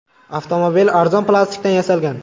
Avtomobil arzon plastikdan yasalgan.